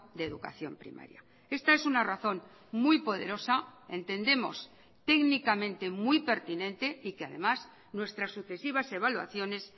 de educación primaria esta es una razón muy poderosa entendemos técnicamente muy pertinente y que además nuestras sucesivas evaluaciones